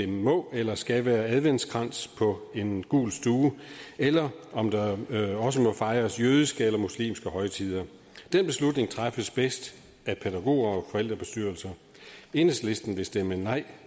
må eller skal være adventskrans på en gul stue eller om der også må fejres jødiske eller muslimske højtider den beslutning træffes bedst af pædagoger og forældrebestyrelser enhedslisten vil stemme nej